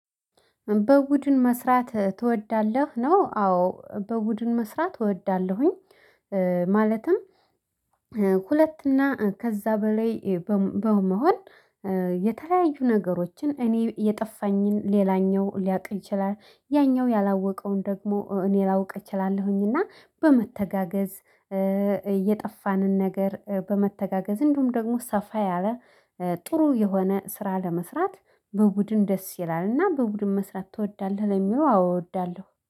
በቡድን መስራት ትወዳለህ? ነው አዎ በቡድን መስራት እወዳለሁኝ። ማለትም ሁለት እና ከዛ በላይ በመሆን የተለያዩ ነገሮችን እኔ የጠፋኝን ሌላኛው ሊያቅ ይችላል ያኛው ያላወቀውን ደግሞ እኔ ላውቅ እችላለሁኝ። እና በመተጋገዝ እየጠፋንን ነገር በመተጋገዝ እንዲሁም ደግሞ ሰፋ ያለ ጥሩ የሆነ ስራ ለመስራት በቡድን ደስ ይላል። እና በቡድን መስራት ትወዳለህ ለሚለው አዎ እወዳለሁ